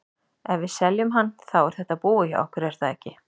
Ef við seljum hann, þá er þetta búið hjá okkur er það ekki?